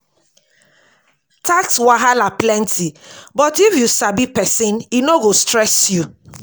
tax wahala plenty but if you sabi pesin e no go stress you.